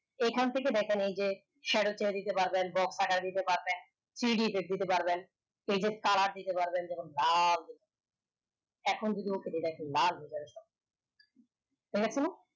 এই খান থেকে দেখনে এই যে দিতে পারবেন বক ফাকা দিতে পারবেন three D effect দিতে পারবেন এই যে তারা দিতে পারবেন যেমন যেহেতু